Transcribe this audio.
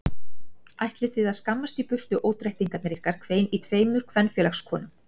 Ætlið þið að skammast í burtu ódrættirnir ykkar hvein í tveimur kvenfélagskonum.